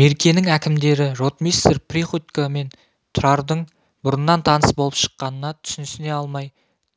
меркенің әкімдері ротмистр приходько мен тұрардың бұрыннан таныс болып шыққанына түсінісе алмай